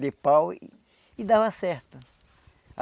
de pau e dava certo.